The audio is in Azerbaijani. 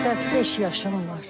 85 yaşım var.